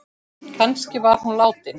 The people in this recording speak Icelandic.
Kannski var hún látin.